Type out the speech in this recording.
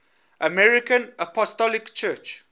armenian apostolic church